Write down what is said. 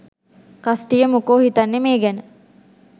කස්ටිය මොකෝ හිතන්නේ මේ ගැන?